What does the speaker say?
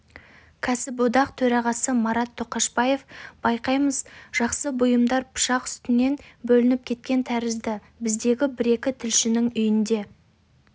кәсіподақ төрағасы марат тоқашбаев байқаймыз жақсы бұымдар пышақ үстінен бөлініп кеткен тәрізді біздегі бір-екі тілшінің үйінде